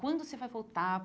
Quando você vai voltar?